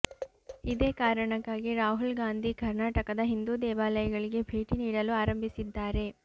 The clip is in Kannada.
ಇದೇ ಕಾರಣಕ್ಕಾಗಿ ರಾಹುಲ್ ಗಾಂಧಿ ಕರ್ನಾಟಕದ ಹಿಂದೂ ದೇವಾಲಯಗಳಿಗೆ ಭೇಟಿ ನೀಡಲು ಆರಂಭಿಸಿದ್ದಾರೆ